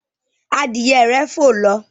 adìye rẹ fò ló.